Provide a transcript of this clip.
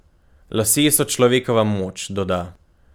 Lasje so človekova moč, doda.